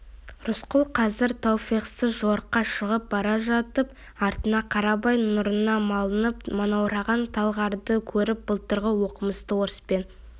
рысқұл қазір тауфихсыз жорыққа шығып бара жатып артына қарап ай нұрына малынып манаураған талғарды көріп былтырғы оқымысты орыспен